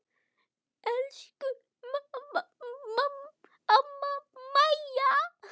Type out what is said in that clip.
Elsku amma Mæja.